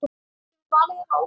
Kemur valið þér á óvart?